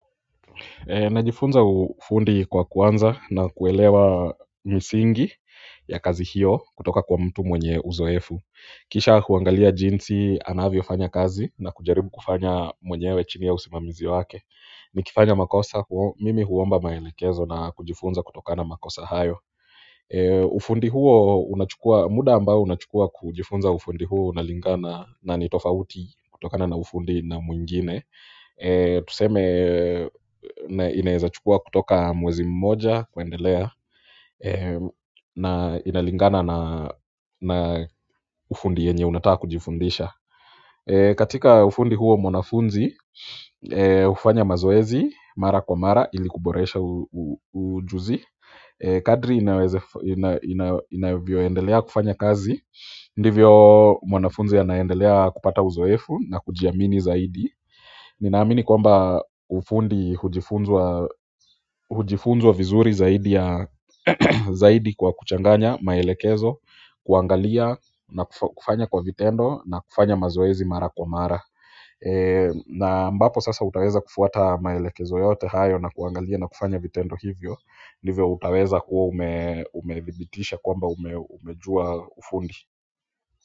Najifunza ufundi kwa kuanza na kuelewa misingi ya kazi hiyo kutoka kwa mtu mwenye uzoefu kisha huangalia jinsi anavyofanya kazi na kujaribu kufanya mwenyewe chini ya usimamizi wake nikifanya makosa mimi huomba maelekezo na kujifunza kutokana na makosa hayo ufundi huo, muda ambao unachukua kujifunza ufundi huo unalingana na nitofauti kutoka na ufundi na mwingine tuseme na inaeza chukua kutoka mwezi mmoja kuendelea na inalingana na ufundi yenye unataka kujifundisha katika ufundi huo mwanafunzi hufanya mazoezi, mara kwa mara, ili kuboresha ujuzi kadri inavyoendelea kufanya kazi ndivyo mwanafunzi anaendelea kupata uzoefu na kujiamini zaidi ninaamini kwamba ufundi hujifunzwa vizuri zaidi kwa kuchanganya, maelekezo, kuangalia na kufanya kwa vitendo na kufanya mazoezi mara kwa mara na mbapo sasa utaweza kufuata maelekezo yote hayo na kuangalia na kufanya vitendo hivyo ndivyo utaweza kuwa umedhibitisha kwamba umejua ufundi.